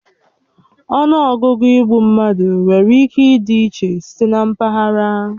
Ọnụọgụgụ igbu mmadụ nwere ike ịdị iche site na mpaghara